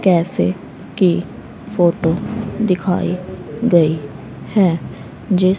cafe की photo दिखाई गई है जिस--